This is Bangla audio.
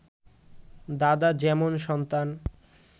দাদা যেমন সন্তান